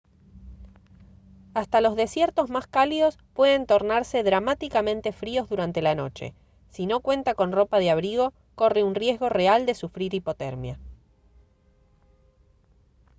hasta los desiertos más cálidos pueden tornarse dramáticamente fríos durante la noche si no cuenta con ropa de abrigo corre un riesgo real de sufrir de hipotermia